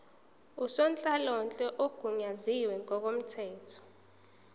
ngusonhlalonhle ogunyaziwe ngokomthetho